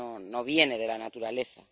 No vienen de la naturaleza.